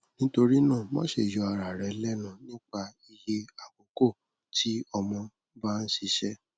nitorinaa maṣe yọ ara rẹ lẹnu nipa iye akoko ti ọmọ ba n ṣiṣẹ